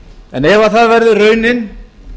en ef það verður raunin